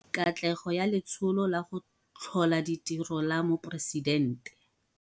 Katlego ya Letsholo la go Tlhola Ditiro la Moporesidente